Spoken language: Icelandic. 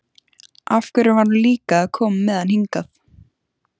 Af hverju var hún líka að koma með hann hingað?